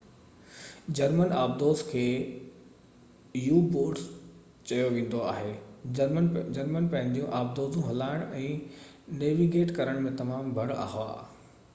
German آبدوز کي U boats چيو ويندو هو جرمن پنهنجيون آبدوزون هلائڻ ۽ نيويگيٽ ڪرڻ ۾ تمام ڀَڙ هئا